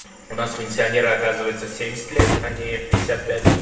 у нас пенсионеры оказывается в семьдесят лет а не в пятьдесят пять